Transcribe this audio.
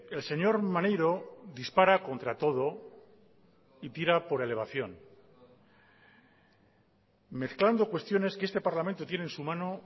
el señor maneiro dispara contra todo y tira por elevación mezclando cuestiones que este parlamento tiene en su mano